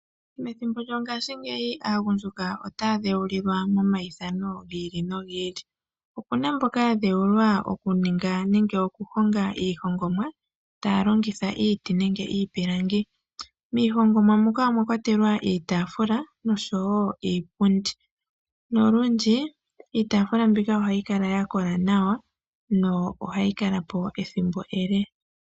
Methimbo lyongaashingeyi aagundjuka otaya dhewulilwa momaithano gi ili nogi ili, opu na mboka ya dhewulilwa okuninga nenge oku honga iihongomwa taya longitha iiti nenge iipilangi, miihongomwa muka omwa kwatelwa iitaafula noshowo iipundi, nolundji iitaafulu mbika ohayi kala ya kola nawa nohayi kala po ethimbo ele